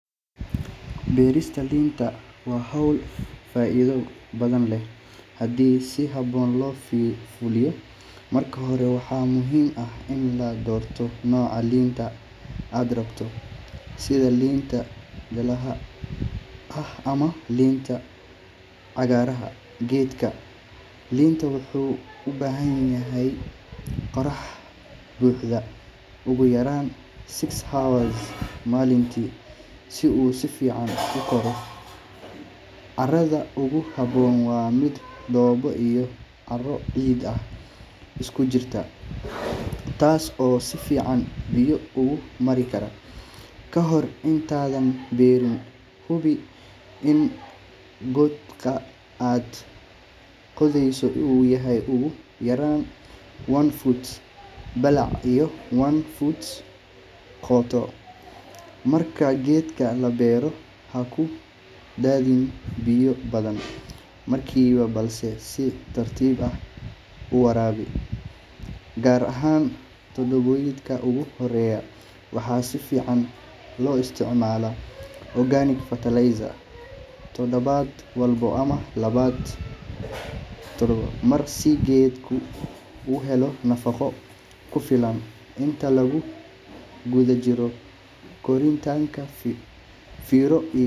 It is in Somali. Beerista liinta waa hawl faa’iido badan leh haddii si habboon loo fuliyo. Marka hore, waxaa muhiim ah in la doorto nooca liinta aad rabto, sida liinta jaallaha ah ama liinta cagaaran. Geedka liinta wuxuu u baahan yahay qorrax buuxda ugu yaraan six hours maalintii si uu si fiican u koro. Carrada ugu habboon waa mid dhoobo iyo carro ciid ah isku jirta, taas oo si fiican biyo ugu mari kara. Ka hor intaadan beerin, hubi in godka aad qodayso uu yahay ugu yaraan one foot ballac iyo one foot qoto. Marka geedka la beero, ha ku daadinin biyo badan markiiba, balse si tartiib ah u waraabi, gaar ahaan toddobaadyada ugu horreeya. Waxaa fiican in la isticmaalo organic fertilizer toddobaad walba ama laba todobaadba mar si geedku u helo nafaqo ku filan. Inta lagu guda jiro koritaanka, fiiro gaar ah u yeelo cayayaanka ama cudurrada, waxaana la isticmaali karaa xalal dabiici ah oo looga hortago. Geedka liinta wuxuu bilaabaa inuu miro dhalo laga bilaabo markii uu gaaro da’da u dhaxaysa two to three.